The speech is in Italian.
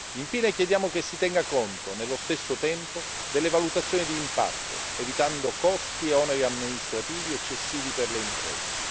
Infine, chiediamo che si tenga conto nello stesso tempo delle valutazioni d'impatto, evitando costi e oneri amministrativi eccessivi per le imprese.